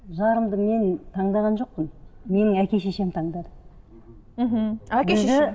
жарымды мен таңдаған жоқпын менің әке шешем таңдады мхм әке шешеңіз